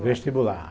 O vestibular.